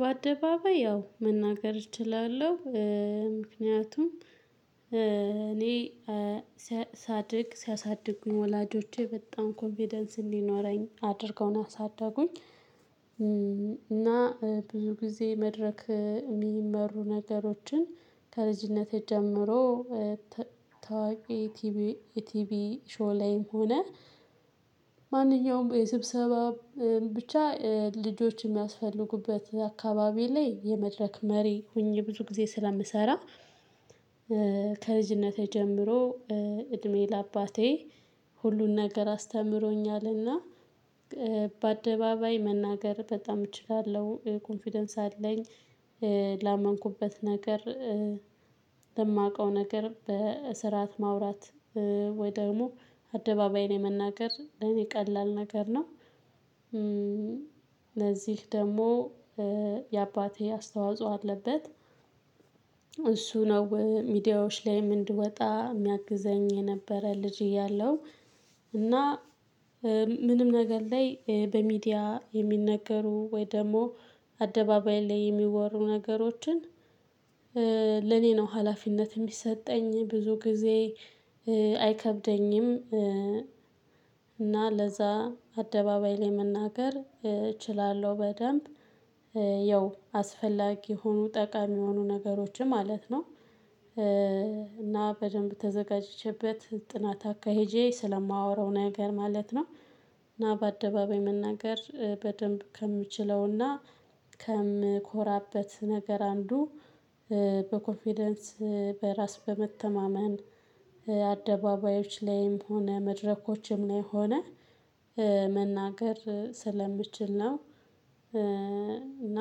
በአደባባይ ያው መናገር እችላለሁ። ምክንያቱም እኔ ሳድግ ሲያሳድጉኝ ወላጆቼ በጣም ኮንፊደንስ እንዲኖረኝ አድርገው ነው ያሳደጉኝ። እና ብዙ ጊዜ መድረክ የሚመሩ ነገሮችን ከልጅነቴ ጀምሮ ታዋቂ ቲቪ የቲቪ ሾው ላይም ሆነ ማንኛውም የስብሰባ ብቻ ልጆች የሚያስፈልጉበት አካባቢ ላይ የመድረክ መሪ ሆኜ ብዙ ጊዜ ስለምሰራ ከልጅነቴ ጀምሮ እድሜ ለአባቴ ሁሉን ነገር አስተምሮኛልና በአደባባይ መናገር በጣም እችላለሁ። ኮንፊደንስ አለኝ ላመንኩበት ነገር። ለማውቀው ነገር በስርዓት ማውራት ወይ ደግሞ አደባባይ ላይ መናገር ለኔ ቀላል ነገር ነው። ለዚህ ደግሞ የአባቴ አስተዋጽኦ አለበት። እሱ ነው ሚዲያዎች ላይም እንድወጣ የሚያግዘኝ የነበረ ልጅ እያለሁ። እና ምንም ነገር ላይ በሚዲያ የሚነገሩ ወይ ደግሞ አደባባይ ላይ የሚወሩ ነገሮችን ለኔ ነው ሀላፊነት የሚሰጠኝ ብዙ ጊዜ አይከብደኝም እና ለዛ አደባባይ ላይ መናገር እችላለሁ በደንብ። ያው አስፈላጊ የሆኑ ጠቃሚ የሆኑ ነገሮችም ማለት ነው እና በደንብ ተዘጋጅቼበት ጥናት አካሄጄ ስለማወራው ነገር ማለት ነው እና በአደባባይ መናገር በደንብ ከምችለውና ከምኮራበት ነገር አንዱ በኮንፊደንስ በራስ በመተማመን አደባባዮች ላይም ሆነ መድረኮችም ላይ ሆነ መናገር ስለምችል ነው እና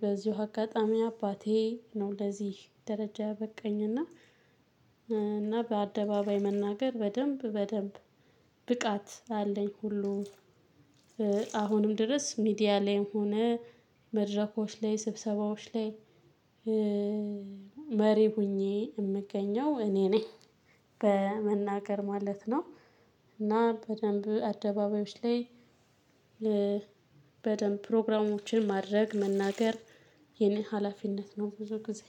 በዚሁ አጋጣሚ አባቴ ነው ለዚህ ደረጃ ያበቃኝ እና እና በአደባባይ መናገር በደንብ በደንብ ብቃት አለኝ ሁሉ አሁንም ድረስ ሚዲያ ላይም ሆነ መድረኮች ላይ ስብሰባዎች ላይ መሪ ሆኜ የምገኘው እኔ ነኝ። በመናገር ማለት ነው እና በደንብ አደባባዮች ላይ በደንብ ፕሮግራሞችን ማድረግ መናገር የኔ ሀላፊነት ነው ብዙ ጊዜ።